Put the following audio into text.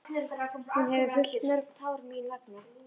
Hún hefur fellt mörg tár mín vegna.